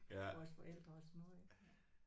Vores forældre og sådan noget ik ja